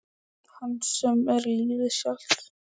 Hans sem er lífið sjálft.